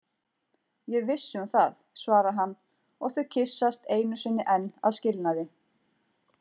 Ég er viss um það, svarar hann og þau kyssast einu sinni enn að skilnaði.